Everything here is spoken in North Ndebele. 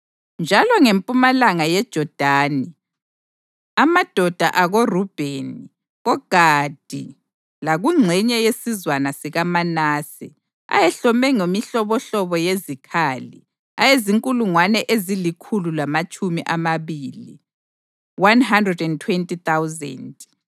njalo ngempumalanga yeJodani, amadoda akoRubheni, koGadi lakungxenye yesizwana sikaManase, ayehlome ngemihlobohlobo yezikhali, ayezinkulungwane ezilikhulu lamatshumi amabili (120,000).